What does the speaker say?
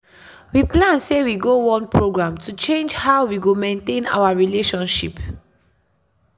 we plan sey we go one program to change how we go maintain own relationship.